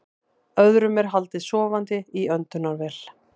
Öðrum er haldið sofandi í öndunarvél